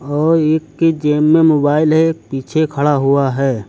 और एक की जेब में मोबाइल है पीछे खड़ा हुआ है।